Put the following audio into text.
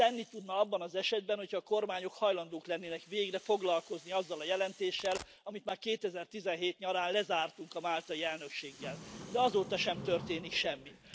Tenni tudna abban az esetben, hogyha a kormányok hajlandók lennének végre foglalkozni azzal a jelentéssel, amit már 2017 nyarán lezártunk a máltai elnökséggel, de azóta sem történik semmi.